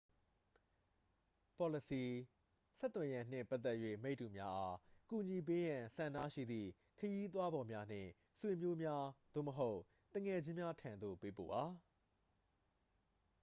ပေါ်လစီ/ဆက်သွယ်ရန်နှင့်ပတ်သက်၍ မိတ္တူများအား ကူညီပေးရန်ဆန္ဒရှိသည့် ခရီးသွားဖော်များ နှင့် ဆွေမျိုးများ သို့မဟုတ် သူငယ်ချင်းများထံသို့ ပေးပို့ပါ။